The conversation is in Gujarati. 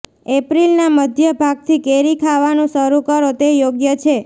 એપ્રિલના મધ્ય ભાગથી કેરી ખાવાનું શરૂ કરો તે યોગ્ય છે